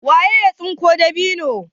waye ya tsinko dabino?